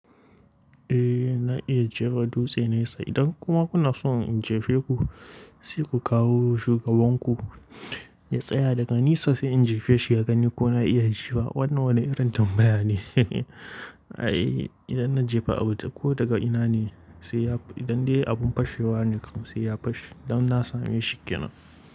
Eh na iya jefa dutse na isa. Idan kuma kuna so in jefe ku, sai ku kawo shugaban ku ya tsaya daga nisa sai in jefe shi, ya gani ko na iya ji wa. Wannan wani irin tambaya ne. Ai idan na jefa abu ko daga ina ne sai ya-- idan dai abun fashewa ne kam sai ya fashe. Don na sami shikkena.